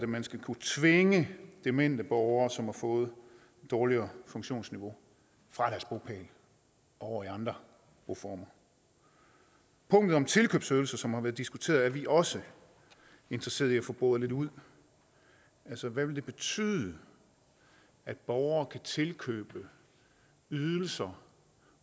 man skal kunne tvinge demente borgere som har fået et dårligere funktionsniveau fra deres bopæl over i andre boformer punktet om tilkøbsydelser som har været diskuteret er vi også interesserede i at få boret lidt ud hvad vil det betyde at borgere kan tilkøbe ydelser